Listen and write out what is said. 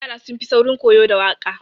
Yara sun fi saurin koyo da waƙa.